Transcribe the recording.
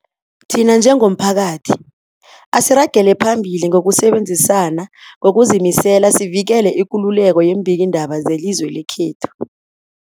Thina njengomphakathi, asiragele phambili ngokusebenzisana ngokuzimisela sivikele ikululeko yeembikiindaba zelizwe lekhethu.